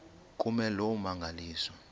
kume loo mmangaliso